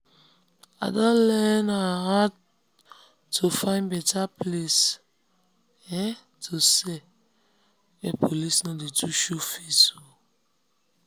i don learn how um to find better place um to sell where police no too dey show face. um